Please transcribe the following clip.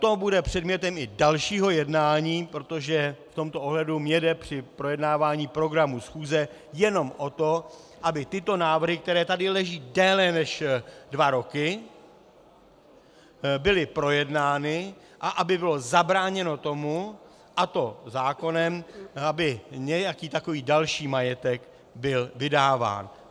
To bude předmětem i dalšího jednání, protože v tomto ohledu mně jde při projednávání programu schůze jenom o to, aby tyto návrhy, které tady leží déle než dva roky, byly projednány a aby bylo zabráněno tomu, a to zákonem, aby nějaký takový další majetek byl vydáván.